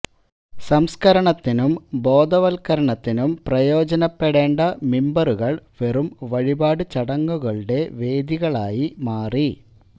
സംസ്കരണത്തിനും ബോധവത്കരണത്തിനും പ്രയോജനപ്പെടേണ്ട മിമ്പറുകള് വെറും വഴിപാട് ചടങ്ങുകളുടെ വേദികളായി മാറി